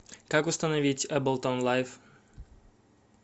как установить эбэлтон лайф